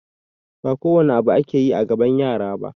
Ba kowane abu ake yi a gaban yara ba